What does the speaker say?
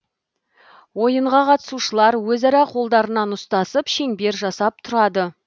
ойынға қатысушылар өзара қолдарынан ұстасып шеңбер жасап тұрады